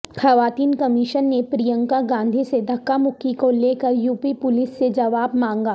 خواتین کمیشن نے پرینکا گاندھی سے دھکامکی کولے کر یوپی پولیس سے جواب مانگا